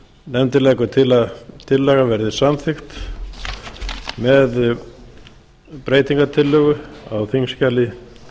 nefndin leggur til að tillagan verði samþykkt með breytingartillögu á þingskjali